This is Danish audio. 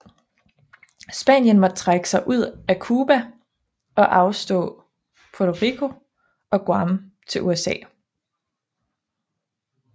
Spanien måtte trække sig ud af Cuba og afstå Puerto Rico og Guam til USA